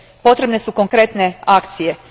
Potrebne su konkretne akcije.